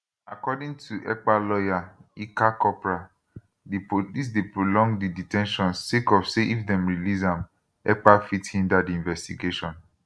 according to ekpa lawyer ilkka kopra di police dey prolong di de ten tion sake of say if dem release am ekpa fit hinder di investigation